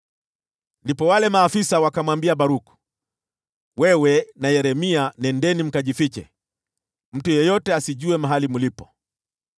Ndipo wale maafisa wakamwambia Baruku, “Wewe na Yeremia nendeni mkajifiche. Mtu yeyote asijue mahali mlipo.”